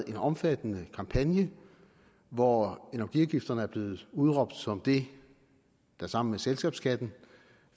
en omfattende kampagne hvor energiafgifterne er blevet udråbt som det der sammen med selskabsskatten